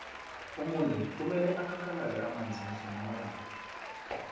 umuntu kumele akakalale amanzi mihle namalanga